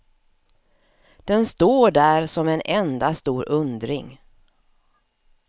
Den står där som en enda stor undring.